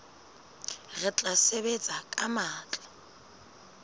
re tla sebetsa ka matla